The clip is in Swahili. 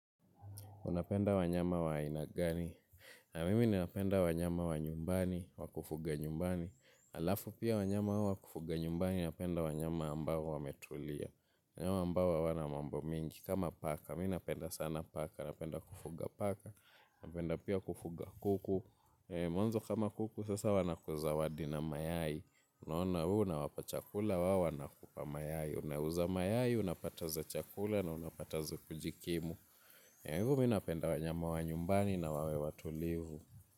Unapenda wanyama wa aina gani. Mimi ninapenda wanyama wa nyumbani, wakufuga nyumbani. Alafu pia wanyama wa kufuga nyumbani, napenda wanyama ambao wametulia. Mnyama ambao hawana mambo mingi. Kama paka, mi napenda sana paka. Napenda kufuga paka. Napenda pia kufuga kuku. Mwanzo kama kuku sasa wanakuzawadi na mayai. We unawapa chakula, wao wanakupa mayai. Unauza mayai, unapata za o chakula na unapata za kujikimu. Mi napenda wanyama wa nyumbani na wawe wa tulivu.